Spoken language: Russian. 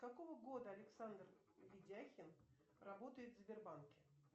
какого года александр видяхин работает в сбербанке